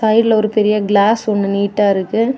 சைடுல ஒரு பெரிய கிளாஸ் ஒன்னு நீட்டா இருக்கு.